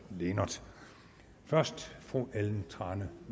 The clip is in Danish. lehnert først fru ellen trane